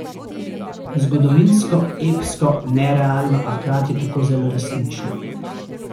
Zgodovinsko, epsko, nerealno, a hkrati tako zelo resnično.